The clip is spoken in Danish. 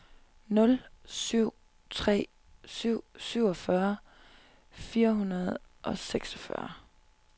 nul syv tre syv syvogfyrre fire hundrede og seksogfyrre